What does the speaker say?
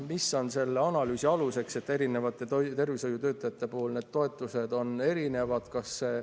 Mis on selle analüüsi aluseks, et erinevate tervishoiutöötajate toetused on erinevad?